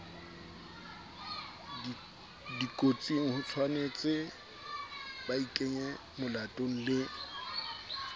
dikotsing hotshwanetse baikenye molatong le